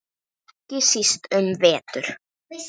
Ekki síst um vetur.